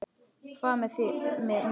Hvað með mig?